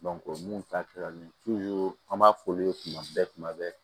mun ta kɛra an b'a f'olu ye tuma bɛɛ kuma bɛɛ